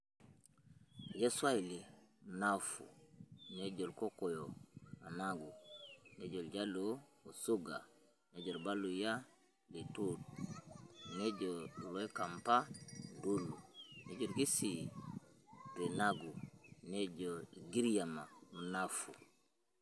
Kejo swaili mnavu, nejo ilkokoyo managu, nejo iljaluo osuga, nejo ilbaluya lituts, nejo iloikamba ndulu, nejo ilkisii rinagu nejo ilgiriama mnavu.